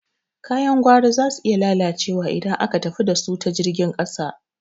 Kayan gwari zasu iya lalacewa idan aka tafi dasu ta jirgin ƙasa.